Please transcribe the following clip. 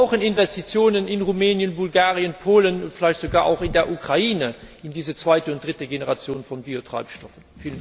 Wir brauchen Investitionen in Rumänien, Bulgarien, Polen und vielleicht sogar auch in der Ukraine in diese zweite und dritte Generation von Biotreibstoffen.